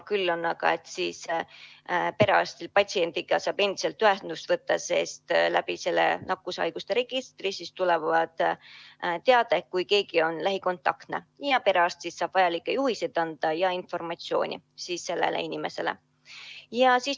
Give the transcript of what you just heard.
Küll aga saab perearst patsiendiga endiselt ühendust võtta, sest nakkushaiguste registri kaudu tuleb teade, kui keegi on lähikontaktne, ja perearst saab siis sellele inimesele anda vajalikke juhiseid ja muud informatsiooni.